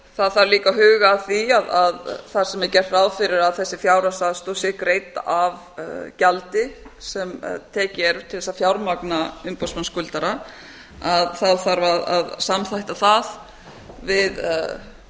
þarf líka að huga að því að þar sem er gert ráð fyrir að þessi fjárhagsaðstoð sé greidd af gjaldi sem tekið er til þess að fjármagna umboðsmann skuldara þá þarf að samþætta það við efnahags